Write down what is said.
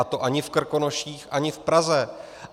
A to ani v Krkonoších, ani v Praze.